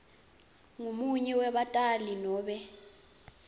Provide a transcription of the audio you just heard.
ngumunye webatali nobe